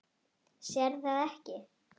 Sérð það ekki.